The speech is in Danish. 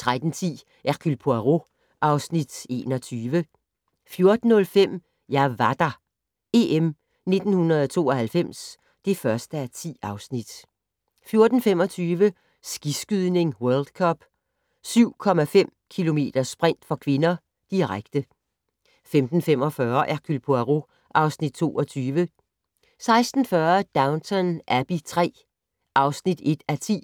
13:10: Hercule Poirot (Afs. 21) 14:05: Jeg var der - EM 1992 (1:10) 14:25: Skiskydning: World Cup - 7,5 km sprint (k) , direkte 15:45: Hercule Poirot (Afs. 22) 16:40: Downton Abbey III (1:10)